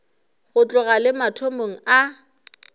go tloga le mathomong a